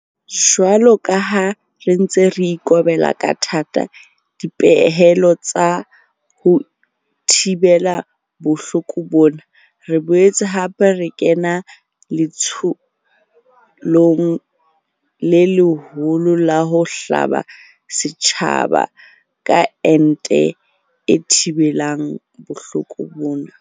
Jwalo ka ha re ntse re ikobela ka thata dipehelo tsa ho thibela bohloko bona, re boetse hape re kena letsholong le leholo la ho hlaba setjhaba ka ente e thibelang bohloko bona.